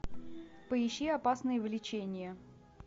поищи опасные влечения